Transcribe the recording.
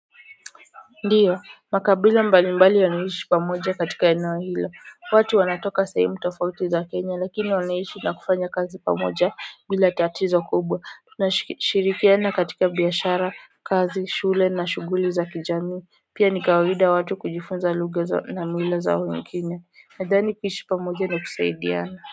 Ndio, makabila mbalimbali yanaishi pamoja katika eneo hilo, watu wanatoka sehemu tofauti za Kenya lakini wanaishi na kufanya kazi pamoja bila tatizo kubwa nashirikiana katika biashara, kazi, shule na shughuli za kijamii pia ni kawaida watu kujifunza lugha na mila za wengine nadhani kuishi pamoja na kusaidiana.